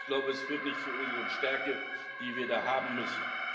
wird. Ich glaube, das führt nicht zu unserer Stärke, die wir da haben müssen.